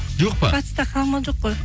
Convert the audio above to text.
жоқ па батыста қалың мал жоқ қой